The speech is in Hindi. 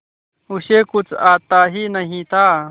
उसे कुछ आता ही नहीं था